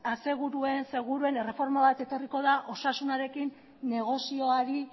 seguruen erreforma bat etorriko da osasunarekin negozioari